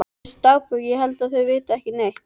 Veistu dagbók ég held að þau viti ekki neitt.